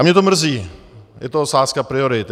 A mě to mrzí, je to otázka priorit.